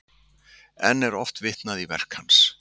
Enn er oft vitnað í verk hans.